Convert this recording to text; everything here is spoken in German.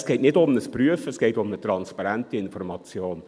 Es geht nicht um ein Prüfen, es geht um eine transparente Information.